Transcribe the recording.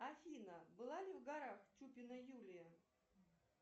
афина была ли в горах чупина юлия